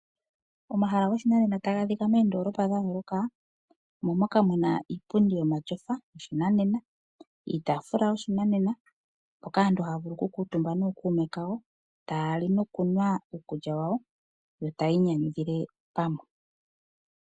Omahala goshinanena taga adhika moondoolopa dhayooloka , omo moka muna iipundi yomatyofa , iitaafula yoshinanena mpoka aantu haya vulu okukuutumba nookuume kayo , taya li nokunwa iikulya yawo , yo taya inyanyudhile pamwe.